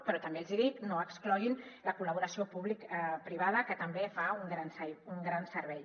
però també els hi dic no excloguin la col·laboració publicoprivada que també fa un gran servei